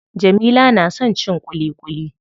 Jamila na son cin ƙuliƙuli.